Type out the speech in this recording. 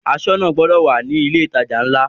Aṣọ́nà gbọdọ̀ wà ní ilé ìtajà ńlá.